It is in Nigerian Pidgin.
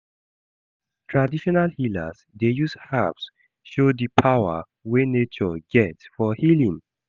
Traditional healers dey use herbs show di power wey nature get for healing.